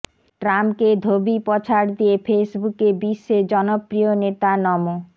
ট্রাম্পকে ধোবি পছাড় দিয়ে ফেসবুকে বিশ্বের জনপ্রিয় নেতা নমো